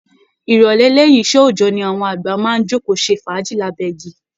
Ìrọ̀lẹ́ lẹ́yìn iṣẹ́ òòjọ́ ni àwọn àgbà máa ń jókòó ṣe fàájì lábẹ́ igi